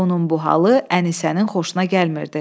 Onun bu halı Ənisənin xoşuna gəlmirdi.